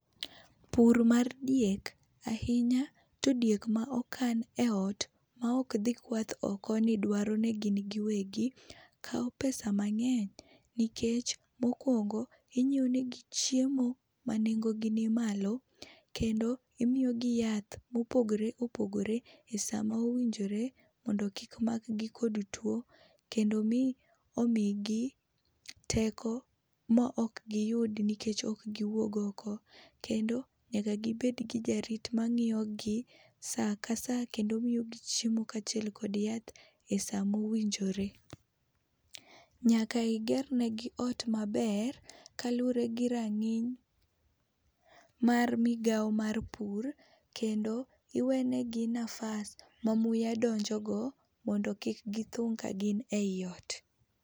Pur mar diek ahinya to diek maokan eot, maok dhi kwath oko nedwaro negin giwegi, kawo pesa mang'eny nikech mokuongo, ing'iewo negi chiemo manengogi ni malo kendo imiyogi yath mopogore opogore, esamowinjore mondo kik makgi kod tuo, kendo mi omigi teko maok giyud nikech ok giwuog oko. Kendo nyaka gibed gi jarit mang'iyogi saa kasaa kendo miyogi chiemo kaachiel kod esaa mowinjore. Nyaka iger negi ot maber kaluwore girang'iny mar migawo mar pur kendo iwenegi nafas mamuya donjogo mondo kik githung' ka gin eiot.